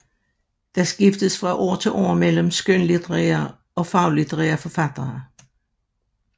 Der skiftes fra år til år mellem skønlitterære og faglitterære forfattere